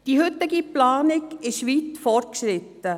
Die heutige Planung ist weit fortgeschritten.